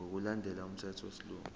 ngokulandela umthetho wesilungu